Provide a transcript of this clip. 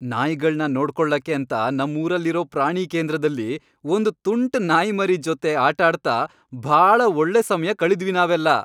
ನಾಯಿಗಳ್ನ ನೋಡ್ಕೊಳಕ್ಕೇಂತ ನಮ್ಮೂರಲ್ಲಿರೋ ಪ್ರಾಣಿಕೇಂದ್ರದಲ್ಲಿ ಒಂದ್ ತುಂಟ್ ನಾಯಿಮರಿ ಜೊತೆ ಆಟಾಡ್ತ ಭಾಳ ಒಳ್ಳೆ ಸಮಯ ಕಳೆದ್ವಿ ನಾವೆಲ್ಲ.